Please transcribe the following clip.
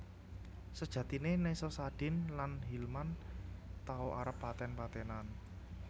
Sejatiné Nessa Sadin lan Hilman tau arep paten patenan